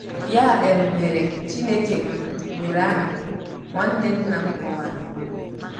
Ya um mere, Chineke um nwere aha, nwanne nna m kọwara.